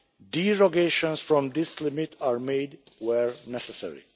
Derogations from this limit are made where necessary.